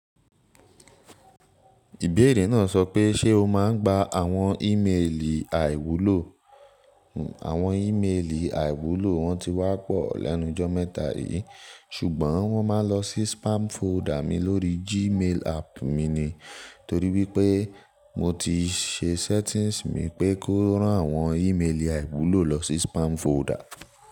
Ìbéèrè náà sọ pé ṣe o máa ń gba àwọn ìmelì àìwúlò? Àwọn ìmelì àìwúlò wọn ti wá pọ̀ lẹ́nu jọ́ mẹ́ta yìí ṣùgbọ́n wọ́n máa ń lọ sí spam folder mi lórí Gmail app mi ni. Torí wípé mo ti se settings mi pé kó rán àwọn ìmelì àìwúlò lọ sí spam folder.